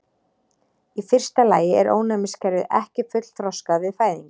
Í fyrsta lagi er ónæmiskerfið ekki fullþroskað við fæðingu.